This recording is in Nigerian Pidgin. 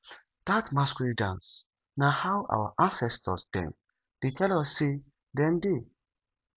dat masquerade dance na how our ancestor dem dey tell us sey dem dey